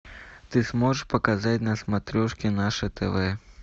ты сможешь показать на смотрешке наше тв